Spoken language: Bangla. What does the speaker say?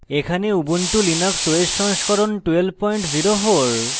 এখানে উবুন্টু linux os সংস্করণ 1204